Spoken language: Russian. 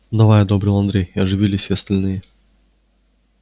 давай одобрил андрей и оживились все остальные